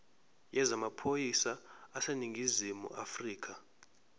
yezamaphoyisa aseningizimu afrika